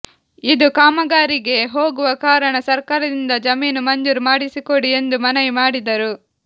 ಇದು ಕಾಮಗಾರಿಗೆ ಹೋಗುವ ಕಾರಣ ಸರ್ಕಾರದಿಂದ ಜಮೀನು ಮಂಜೂರು ಮಾಡಿಸಿಕೊಡಿ ಎಂದು ಮನವಿ ಮಾಡಿದರು